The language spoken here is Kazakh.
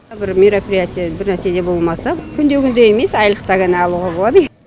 мына бір мероприятие бірнәрседе болмаса күнде күнде емес айлықта ғана алуға болады